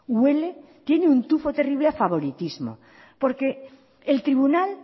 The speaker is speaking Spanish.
huele tiene un tufo terrible a favoritismo porque el tribunal